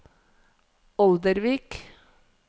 Oldervik